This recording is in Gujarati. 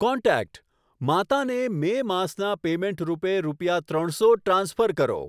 કોન્ટેક્ટ માતા ને મે માસના પેમેંટ રૂપે રૂપિયા ત્રણ સો ટ્રાન્સફર કરો.